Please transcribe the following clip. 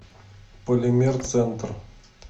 полимер центр